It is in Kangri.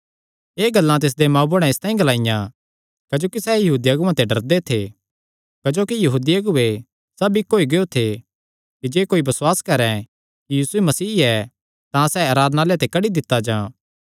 एह़ गल्लां तिसदे मांऊ बुढ़े इसतांई ग्लाईयां क्जोकि सैह़ यहूदी अगुआं ते डरदे थे क्जोकि यहूदी अगुऐ सब इक्क होई गियो थे कि जे कोई बसुआस करैं कि यीशु मसीह ऐ तां सैह़ आराधनालय ते कड्डी दित्ता जां